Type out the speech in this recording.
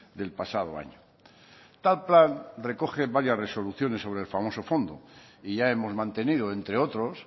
del pasado año tal plan recoge varias resoluciones sobre el famoso fondo y ya hemos mantenido entre otros